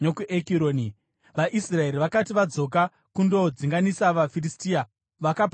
VaIsraeri vakati vadzoka kundodzinganisa vaFiristia, vakapamba musasa wavo.